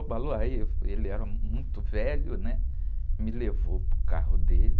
Obaloaiê, ele era muito velho, né? Me levou para o carro dele.